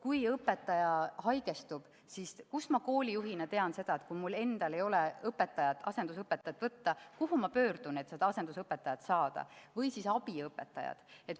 Kui õpetaja haigestub, siis kuidas ma koolijuhina tean, et kui mul endal ei ole asendusõpetajat võtta, kuhu ma pean pöörduma, et asendusõpetaja või abiõpetaja saada?